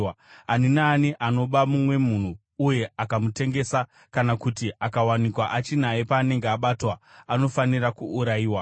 “Ani naani anoba mumwe munhu uye akamutengesa kana kuti akawanikwa achinaye paanenge abatwa, anofanira kuurayiwa.